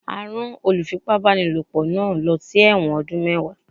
A rán olùfipá-báni lòpọ̀ náà lọ sí ẹ̀wọ̀n ọdún mẹ́wàá.